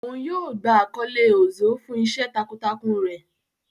Oun yoo gba akọle Ozo fun iṣẹ takuntakun rẹ